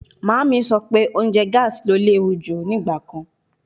Mama mi sọ pe ounjẹ gaasi le lewu nigbakan